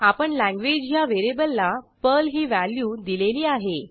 आपण लँग्वेज ह्या व्हेरिएबलला पर्ल ही व्हॅल्यू दिलेली आहे